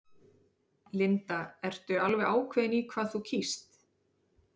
Linda: Ertu alveg ákveðin í hvað þú kýst?